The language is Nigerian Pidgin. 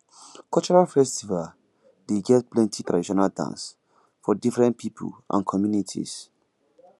cultural festival dey get plenty traditional dance for different pipo and communities